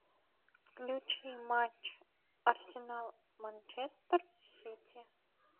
включи матч арсенал манчестер сити